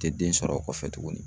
Te den sɔrɔ o kɔfɛ tuguni